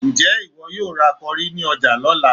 Ǹjẹ́ ìwọ yóò ra kọrí ní ọjà lọ́la?